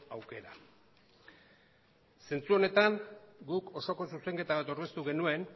aukera zentzu honetan guk osoko zuzenketa bat aurkeztu genuen